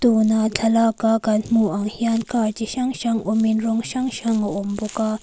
tuna thlalak a kan hmuh ah hian car chi hrang hrang awm in rawng hrang hrang a awm bawk a.